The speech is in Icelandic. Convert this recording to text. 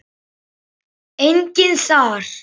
Enginn þar.